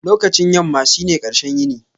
Lokacin yamma shine ƙarshen yini.